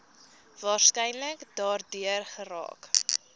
waarskynlik daardeur geraak